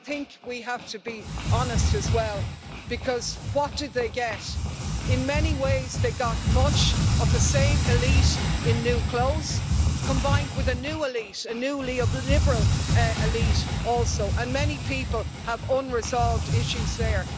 But we have to be honest as well, because what did they get? In many ways they got much of the same elite in new clothes, combined also with a new elite a new neoliberal elite and many people have unresolved issues there.